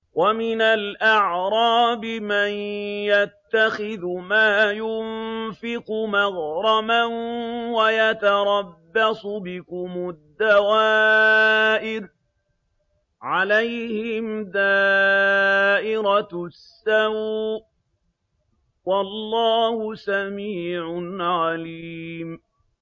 وَمِنَ الْأَعْرَابِ مَن يَتَّخِذُ مَا يُنفِقُ مَغْرَمًا وَيَتَرَبَّصُ بِكُمُ الدَّوَائِرَ ۚ عَلَيْهِمْ دَائِرَةُ السَّوْءِ ۗ وَاللَّهُ سَمِيعٌ عَلِيمٌ